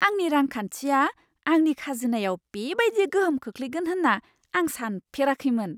आंनि रांखान्थिया आंनि खाजोनायाव बेबायदि गोहोम खोख्लैगोन होन्ना आं सानफेराखैमोन!